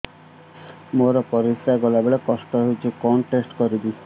ମୋର ପରିସ୍ରା ଗଲାବେଳେ କଷ୍ଟ ହଉଚି କଣ ଟେଷ୍ଟ କରିବି